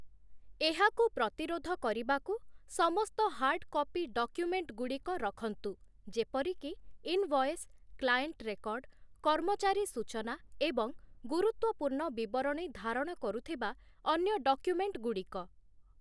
ଏହାକୁ ପ୍ରତିରୋଧ କରିବାକୁ, ସମସ୍ତ ହାର୍ଡ଼ କପି ଡକ୍ୟୁମେଣ୍ଟଗୁଡ଼ିକ ରଖନ୍ତୁ, ଯେପରିକି ଇନଭଏସ୍, କ୍ଲାଏଣ୍ଟ ରେକର୍ଡ଼, କର୍ମଚାରୀ ସୂଚନା ଏବଂ ଗୁରୁତ୍ୱପୂର୍ଣ୍ଣ ବିବରଣୀ ଧାରଣ କରୁଥିବା ଅନ୍ୟ ଡକ୍ୟୁମେଣ୍ଟଗୁଡ଼ିକ ।